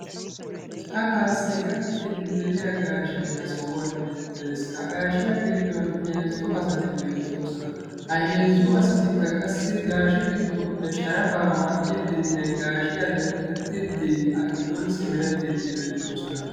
Cahaassi gakkiiddi de"iya gaashe ha sohuwan beettes. Ha gaashiya giddon heezzu asati beettoosona. Ha heezzu asatikka qassi gaashe giddoppe sharafaa maxiiddinne gaashiya denttettiiddi a giddon simerettiiddi beettoosona.